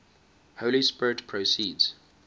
holy spirit proceeds